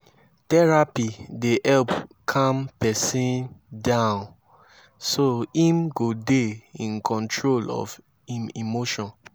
therapy dey help calm pesin down so im go dey in control of im emotion